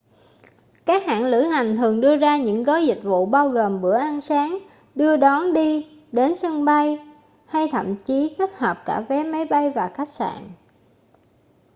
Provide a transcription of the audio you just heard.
các hãng lữ hành thường đưa ra những gói dịch vụ bao gồm bữa ăn sáng đưa đón đi/đến sân bay hay thậm chí kết hợp cả vé máy bay và khách sạn